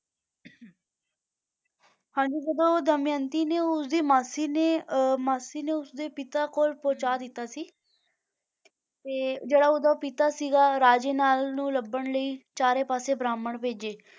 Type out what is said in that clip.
ਹਾਂਜੀ ਜਦੋਂ ਦਮਿਅੰਤੀ ਨੇ ਉਸਦੀ ਮਾਸੀ ਨੇ ਅਹ ਮਾਸੀ ਨੇ ਉਸਦੇ ਪਿਤਾ ਕੋਲ ਪਹੁੰਚਾ ਦਿੱਤਾ ਸੀ ਤੇ ਜਿਹੜਾ ਉਹਦਾ ਪਿਤਾ ਸੀਗਾ ਰਾਜੇ ਨਲ ਨੂੰ ਲੱਭਣ ਲਈ ਚਾਰੇ ਪਾਸੇ ਬ੍ਰਾਹਮਣ ਭੇਜੇ,